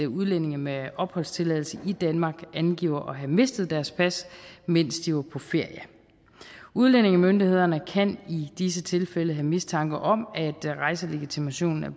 udlændinge med opholdstilladelse i danmark angiver at have mistet deres pas mens de var på ferie udlændingemyndighederne kan i disse tilfælde have mistanke om at rejselegitimationen er